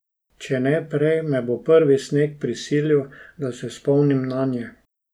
Če ne prej, me bo prvi sneg prisilil, da se spomnim nanje.